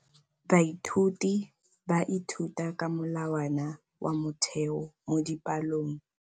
Baithuti ba ithuta ka molawana wa motheo mo dipalong.